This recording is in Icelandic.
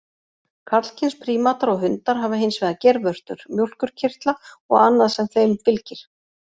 Karlkyns prímatar og hundar hafa hins vegar geirvörtur, mjólkurkirtla og annað sem þeim fylgir.